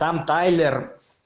там тайллер